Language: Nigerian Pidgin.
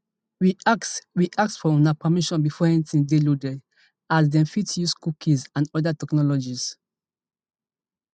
we ask we ask for una permission before anytin dey loaded as dem fit dey use cookies and oda technologies